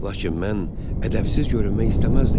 Lakin mən ədəbsiz görünmək istəməzdim.